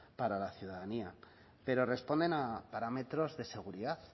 para la ciudadanía pero responden a parámetros de seguridad